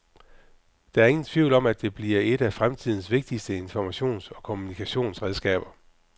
Der er ingen tvivl om at det bliver et af fremtidens vigtigste informations- og kommunikationsredskaber.